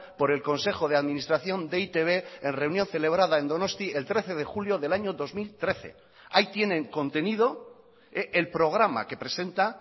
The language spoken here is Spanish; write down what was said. por el consejo de administración de e i te be en reunión celebrada en donostia el trece de julio del año dos mil trece ahí tienen contenido el programa que presenta